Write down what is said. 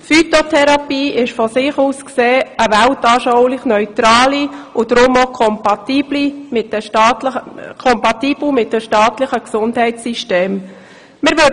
Die Phytotherapie ist als solche weltanschaulich neutral und daher auch kompatibel mit den staatlichen Gesundheitssystemen.